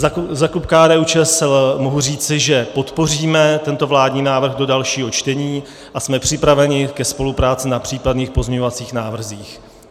Za klub KDÚ-ČSL mohu říci, že podpoříme tento vládní návrh do dalšího čtení a jsme připraveni ke spolupráci na případných pozměňovacích návrzích.